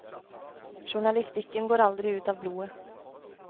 Journalistikken går aldri ut av blodet.